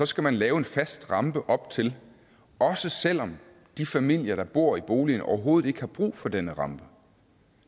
skal lave en fast rampe op til også selv om de familier der bor i boligen overhovedet ikke har brug for denne rampe